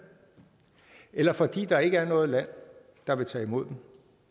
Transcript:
eller fordi der ikke er noget land der vil tage imod dem